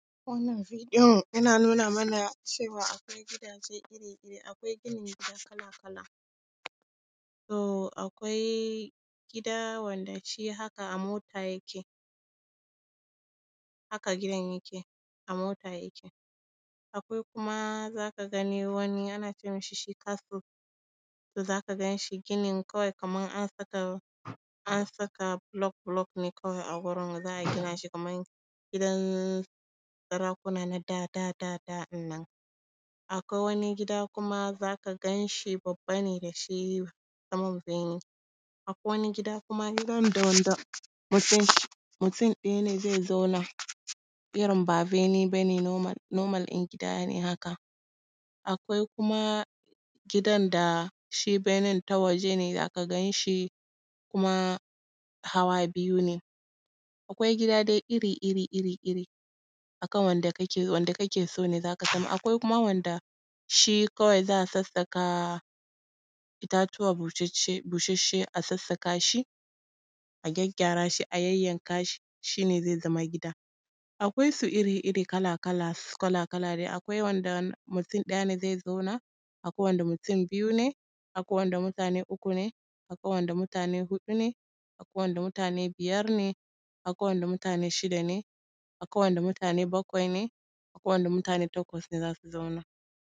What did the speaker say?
Wannan videon yana nuna mana cewa akwai gidaje iri-iri, akwai ginin gida kala-kala. So akwai gida wanda shi haka a mota yake, haka gidan yake, a mota yake. Akwai kuma za ka gani wani ana ce mishi shi castle, za ka gan shi ginin kawai kaman an saka, an saka block-block ne kawai a gurin, za a gina shi kaman gidan sarakuna na da da da da ɗin nan. Akwai wani gida kuma za ka gan shi babba ne da shi. Akwai wani gida kuma na wanda mutum ɗaya zai zauna, irin ba bene ba ne, normal ɗin gida ne haka. Akwai kuma gidan da shi benen ta waje ne, za ka gan shi kuma hawa biyu ne. Akwai gida dai iri iri iri, a kan wanda kake so ne za ka zauna. Akwai kuma wanda shi kawai za a sassaka itatuwa busasshe, busasshe a sassaka shi, a gyaggyara shi a yayyanka shi, shi ne zai zama gida. Akwai su iri-iri, kala-kala, kala-kala dai, akwai wanda mutum ɗaya ne zai zauna, akwai wanda mutum biyu ne, akwai wanda mutane uku ne, akwai wanda mutane huɗu ne, akwai wanda mutane biyar ne, akwai wanda mutane shida ne, akwai wanda mutane bakwai ne, akwai wanda mutane takwas ne za su zauna.